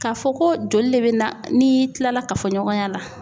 K'a fɔ ko joli de bɛ na n'i kilala kafoɲɔgɔnya la